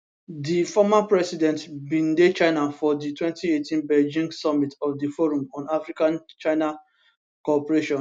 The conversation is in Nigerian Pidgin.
di former president bin dey china for di 2018 beijing summit of di forum on africachina cooperation